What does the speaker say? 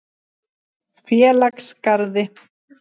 Félagsgarði